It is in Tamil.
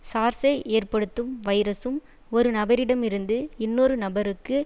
சார்ஸை ஏற்படுத்தும் வைரசும் ஒரு நபரிடமிருந்து இன்னொரு நபருக்கு